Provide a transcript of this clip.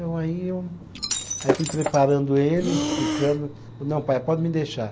Então aí eu, aí eu fui preparando ele, explicando, não pai, pode me deixar.